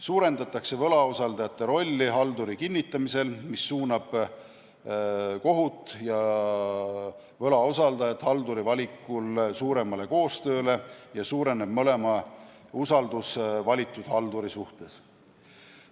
Suurendatakse võlausaldajate rolli halduri kinnitamisel, mis suunab kohut ja võlausaldajat halduri valikul suuremale koostööle, ning suureneb mõlema usaldus valitud halduri suhtes.